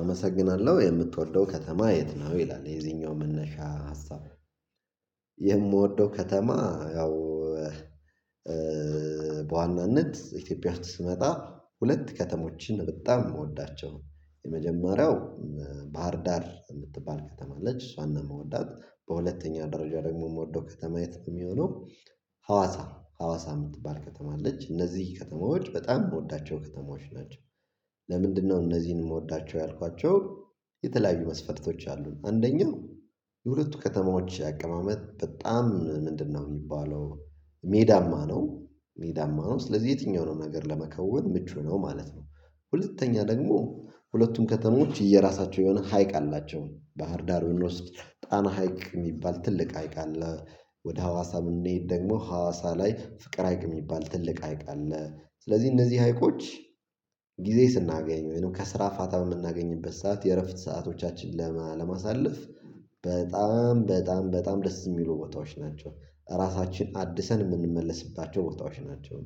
አመሰግናለሁ። የምትወልደው ከተማ የት ነው? ይላል የዚኛው መነሻ ሀሳብ የምወደው ከተማ፤ ያው በዋናነት ኢትዮጵያ ውስጥ ስመጣ ሁለት ከተሞችን በጣም የምወዳቸው። የመጀመሪያው ባህር ዳር የምትባል ከተማ ነች እሷን ነው የምወዳት፤ በሁለተኛ ደረጃ ደግሞ የምወደው ከተማ የት የሚሆነው ሀዋሳ ሀዋሳ የምትባል ከተማ አለች፤ እነዚህ ከተማዎች በጣም የምወዳቸው ከተማዎች ናቸው። ለምንድነው እነዚህን የምወዳቸው ያልኳቸው የተለያዩ መስፈጥቶች አሉን። አንደኛው፤ የሁለቱ ከተማዎች አቀማመጥ በጣም ምንድነው የሚባለው ሜዳማ ነው፤ ሜዳማ ነው ስለዚህ የትኛው ነው ነገር ለመከወን ምቹ ነው ማለት ነው፤ ሁለተኛ ደግሞ ሁለቱም ከተሞች እየራሳቸው የሆነ ሀይቅ አላቸው፤ ባህር ዳር ውስጥ ጣና ሀይቅ የሚባል ትልቅ ሀይቅ አለ። ወደ ሀዋሳም እንደሄድ ደግሞ፤ ሀዋሳ ላይ ፍቅር ሀይቅ የሚባል ትልቅ ሀይቅ አለ። ስለዚህ እነዚህ ሀይቆች ጊዜ ስናገኝ፤ ወይንም ከስራ ፋታ የምናገኝበት ሰዓት፤ የእረፍት ሰዓቶቻችን ለማሳለፍ በጣም በጣም ደስ የሚሉ ቦታዎች ናቸው። ራሳችን አድሰን የምንመለስባቸው ቦታዎች ናቸው።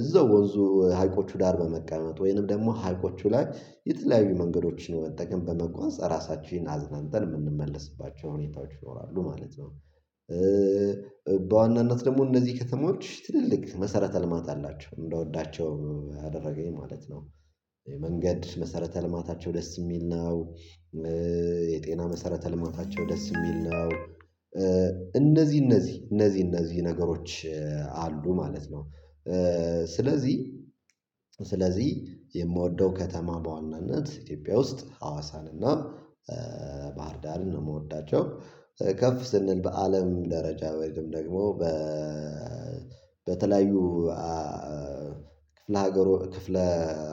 እዛው ወንዙ ሀይቆቹ ዳር በመቀመጥ፤ ወይንም ደግሞ ሀይቆቹ ላይ የተለያዩ መንገዶችን በመጠቀም፤ በመጓዝ ራሳችንን አዝናንተን የምንመልስባቸው ሁኔታዎች ይኖራሉ ማለት ነው። በዋናነት ደግሞ እነዚህ ከተማዎች ትልልቅ መሰረተ ልማት አላቸው፤ እንደወዳቸው አደረገኝ ማለት ነው። የመንገድ መሰረተ ልማታቸው ደስ የሚል ነው። የጤና መሰረተ ልማታቸው ደስ የሚል ነው። እነዚህ እነዚህ እነዚህ ነገሮች አሉ ማለት ነው፤ ስለዚህ ስለዚህ የምወደው ከተማ በዋናነት ኢትዮጵያ ውስጥ ሀዋሳን እና ባህር ዳርን ነው የምወዳቸው። ከፍ ስንል በአለም ደረጃ ወይም ደግሞ በተለያዩ ክፍለ ሀገሩ ክፍለ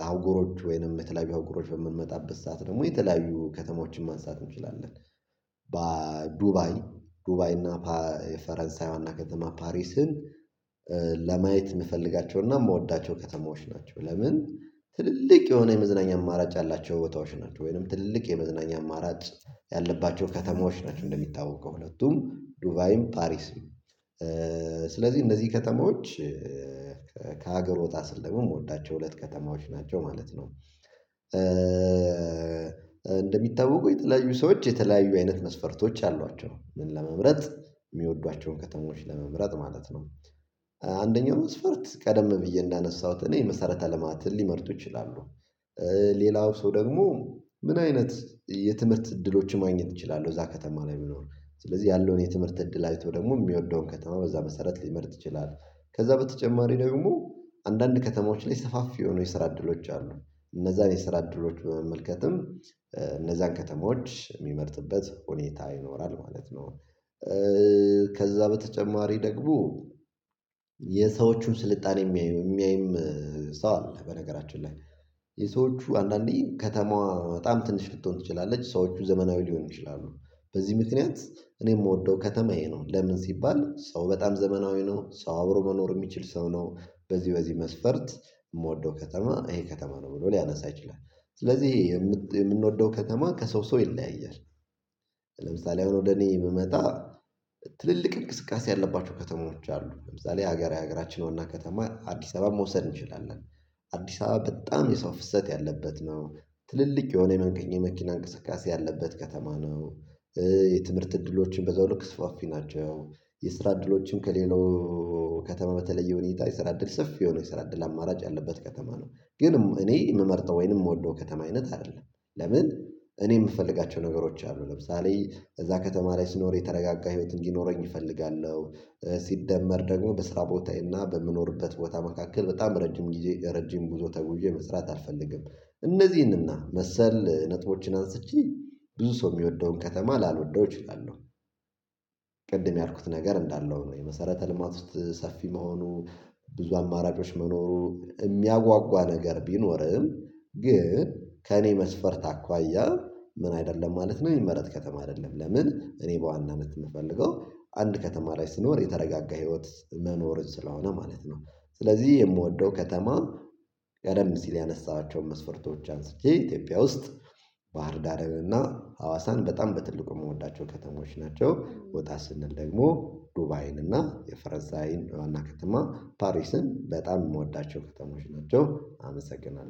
አውጎሮች ወይንም የተለያየ አውጎሮች በምንመጣበት ሰዓት ደግሞ፤ የተለያዩ ከተማዎችን ማንሳት እንችላለን። በዱባይ ዱባይ እና ፈረንሳይ ዋና ከተማ ፓሪስን፤ ለማየት የምፈልጋቸውና የምወዳቸው ከተማዎች ናቸው፤ ለምን ትልልቅ የሆነ የመዝናኛ አማራጭ ያላቸው ቦታዎች ናቸው፤ ወይንም ትልልቅ የመዝናኛ አማራጭ ያለባቸው ከተማዎች ናቸው እንደሚታወቁ ሁለቱም። ዱባይም ፓሪስም ስለዚህ እነዚህ ከተማዎች ከሀገር ወጣ ስል የምወዳቸው ሁለት ከተማዎች ናቸው ማለት ነው። እንደሚታወቀው የተለያዩ ሰዎች የተለያዩ አይነት መስፈርቶች አሏቸው፤ ምን ለመምረጥ የሚወዷቸውን ከተሞች ለመምረጥ ማለት ነው። አንደኛው መስፈርት ቀደም ብዬ እንዳነሳሁት እኔ የመሰረተ ልማትን ሊመርጡ ይችላሉ። ሌላው ሰው ደግሞ ምን አይነት የትምህርት እድሎችን ማግኘት እችላለሁ እዛ ከተማ ላይ ቢኖር። ስለዚህ ያለውን የትምህርት እድል አይቶ ደግሞ የሚወደውን ከተማ በዛ መሰረት ሊመርጥ ይችላል። ከዛ በተጨማሪ ደግሞ አንዳንድ ከተማዎች ላይ ሰፋፊ የሆኑ የስራ እድሎች አሉ። እነዛን የስራ እድሎች በመመልከትም እነዛን ከተሞች የሚመርጥበት ሁኔታ ይኖራል ማለት ነው። ከዛ በተጨማሪ ደግሞ፤ የሰዎቹን ስልጣኔ የሚያይም የሚያይም ሰው አለ በነገራችን ላይ። የሰዎች አንዳንዴ ከተማዋ በጣም ትንሽ ልትሆን ትችላለች ሰዎች ዘመናዊ ሊሆን ይችላሉ። በዚህ ምክንያት የምወደው ከተማ እሄ ነው፤ ለምን ሲባል ሰው በጣም ዘመናዊ ነው፤ ሰው አብሮ መኖር የሚችል ሰው ነው፤ በዚህ በዚህ መስፈርት የምወደው ከተማ እሄ ከተማ ነው ብሎ ሊያነሳ ይችላል። ስለዚህ የምንወደው ከተማ ከሰው ሰው ይለያያል። ለምሳሌ አሁን ወደ እኔ ብመጣ ትልልቅ እንቅስቃሴ ያለባቸው ከተሞች አሉ። ለምሳሌ ሀገራዊ ሀገራችን ዋና ከተማ አዲስ አበባን መውሰድ እንችላለን። አዲስ አበባ በጣም የሰው ፍሰት ያለበት ነው፤ ትልልቅ የሆነ የመኪና እንቅስቃሴ ያለበት ከተማ ነው። የትምህርት እድሎችን በዛው ልክ ስራፊ ናቸው፤ የስራ እድሎችም ከሌለው ከተማ በተለየ ሁኔታ የስራ እድል ሰፊ የሆነ የስራ አድል አማራጭ ያለበት ከተማ ነው፤ ግን እኔ የምመርጠው ወይንም የምወደው ከተማ አይነት አይደለም። ለምን እኔ የምፈልጋቸው ነገሮች አሉ ለምሳሌ እዛ ከተማ ላይ ሲኖር የተረጋጋ ህይወት እንዲኖረኝ እፈልጋለሁ። ሲደመር ደግሞ በስራ ቦታዬና በምኖርበት ቦታ መካከል በጣም ረጅም ረጅም ጉዞ ተጉብዬ መስራት አልፈልግም። እነዚህንና መሰል ነጥቦችን አንስቼ ብዙ ሰው የሚወደውን ከተማ ላልወደው እችላለሁ። ቅድም ያልኩት ነገር እንዳለው ሆኖ፤ የመሰረተ ልማት ሰፊ መሆኑ፤ ብዙ አማራጮች መኖሩ፤ የሚያጓጓ ነገር ቢኖርም ግን ከእኔ መስፈርት አኳያ ምን አይደለም ማለት ነው የሚመረጥ ከተማ አይደለም። ለምን እኔ በዋናነት የምፈልገው አንድ ከተማ ላይ ስኖር የተረጋጋ ህይወት መኖርን ስለሆነ ማለት ነው። ስለዚህ የምወደው ከተማ ቀደም ሲል ያነሳኋቸውን መስፈርቶች አንስቼ ኢትዮጵያ ውስጥ ባህር ዳርንና ሀዋሳን በጣም በትልቁ የምወዳቸው ከተሞች ናቸው። ወጣ ስንል ደግሞ ዱባይን እና የፈረንሳይን ዋና ከተማ ፓሪስን በጣም የምወዳቸው ከተሞች ናቸው አመሰግናለሁ።